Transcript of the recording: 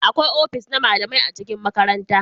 Akwai ofis na malamai a cikin makaranta